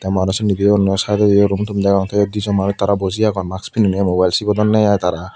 mane sindi view gano side odi room toom degong te eyot di jon manuj tara boji agon mask pinine mobile sibodonne i tara.